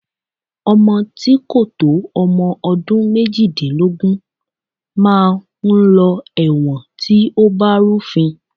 Ọmọ tí kò tó ọmọ ọdún méjìdínlógún máa ń lọ ẹ̀wọ̀n tí ó bá rúfin